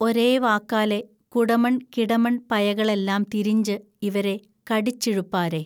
ഒരേ വാക്കാലെ കുടമൺ കിടമൺ പയകളെല്ലാം തിരിഞ്ച് ഇവരെ കടിച്ചിഴുപ്പാരെ